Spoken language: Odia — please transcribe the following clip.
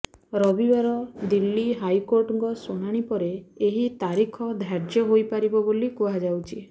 ରବିବାର ଦିଲ୍ଲୀ ହାଇକୋର୍ଟଙ୍କ ଶୁଣାଣି ପରେ ଏହି ତାରିଖ ଧାର୍ଯ୍ୟ ହୋଇପାରିବ ବୋଲି କୁହାଯାଉଛି